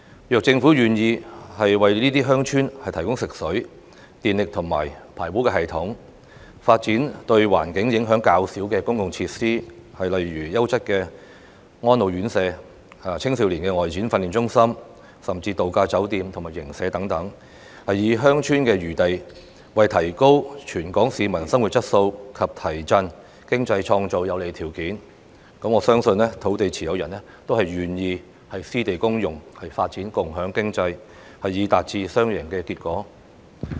如果政府願意為這些鄉村提供食水、電力及排污系統，發展對環境影響較少的公共設施，例如優質的安老院舍、青少年外展訓練中心，或是度假酒店及營舍等，以鄉村的餘地為提高全港市民生活質素及提振經濟創造有利條件，我相信土地持有人都會願意私地公用，發展共享經濟，以達致雙贏結果。